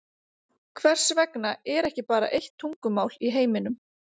Hvers vegna er ekki bara eitt tungumál í heiminum?